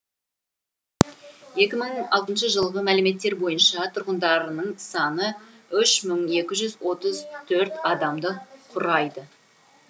екі мың алтыншы жылғы мәліметтер бойынша тұрғындарының саны үш мың екі жүз отыз төрт адамды құрайды